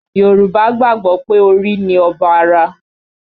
Yorùbá gbàgbọ́ pé orí ni ọba ara